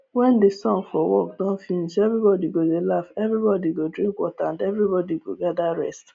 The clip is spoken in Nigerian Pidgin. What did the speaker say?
wen the song for work don finish everybody go dey laugh everybody go drink water and everybody go gather rest